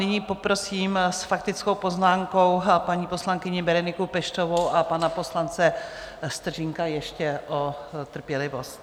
Nyní poprosím s faktickou poznámkou paní poslankyni Bereniku Peštovou a pana poslance Stržínka ještě o trpělivost.